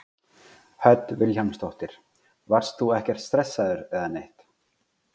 Hödd Vilhjálmsdóttir: Varst þú ekkert stressaður eða neitt?